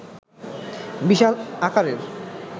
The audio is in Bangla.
বিশাল আকারের